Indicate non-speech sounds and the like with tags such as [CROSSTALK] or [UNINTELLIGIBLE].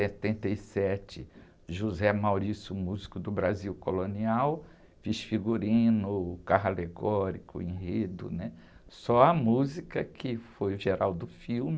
Em setenta e sete, José Maurício, o músico do Brasil Colonial, fiz figurino, carro alegórico, enredo, né? Só a música que foi o. [UNINTELLIGIBLE]